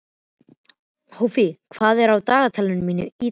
Hófí, hvað er á dagatalinu mínu í dag?